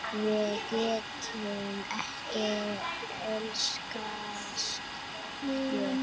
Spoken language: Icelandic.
Við getum ekki elskast hér.